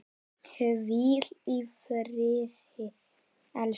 Hvíl í friði, elsku Óla.